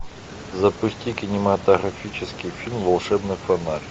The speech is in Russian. запусти кинематографический фильм волшебный фонарь